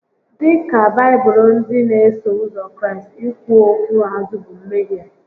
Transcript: Dịka Baibụlụ ndị n'eso ụzọ Kraịst, ikwu okwu azụ bụ mmehie